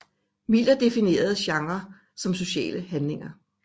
Miller definerer genrer som sociale handlinger